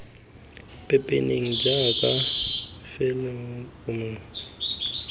pepeneneng jaaka fela lo kgonne